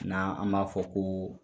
N'a an b'a fɔ ko